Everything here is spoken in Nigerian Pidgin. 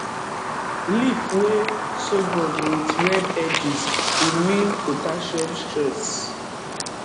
leave wey sorghum with red edges e mean potassium stress